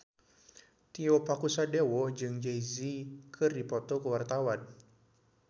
Tio Pakusadewo jeung Jay Z keur dipoto ku wartawan